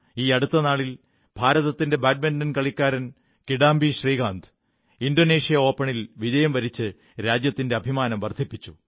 ഈയടുത്ത നാളിൽ ഭാരതത്തിന്റെ ബാഡ്മിന്റൻ കളിക്കാരൻ കിഡാംബി ശ്രീകാന്ത് ഇൻഡൊനേഷ്യ ഓപ്പണിൽ വിജയം വരിച്ച് രാജ്യത്തിന്റെ അഭിമാനം വർധിപ്പിച്ചു